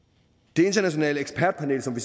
det internationale ekspertpanel som vi